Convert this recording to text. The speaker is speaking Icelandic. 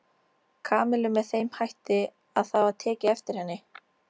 Kamillu með þeim hætti að það var tekið eftir henni.